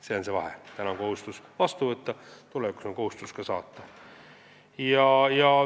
See on see vahe: täna on kohustus vastu võtta, tulevikus on kohustus ka saata.